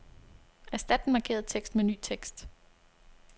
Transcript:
Erstat den markerede tekst med ny tekst.